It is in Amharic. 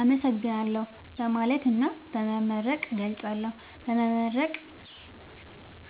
አመሠግናለሁ በማለትና በመመረቅ እገልፃለሁ። በመመረቅ